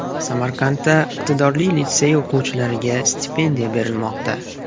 Samarqandda iqtidorli litsey o‘quvchilariga stipendiya berilmoqda.